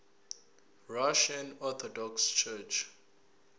russian orthodox church